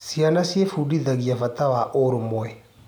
Ciana ciĩbundithagia bata wa ũrũmwe.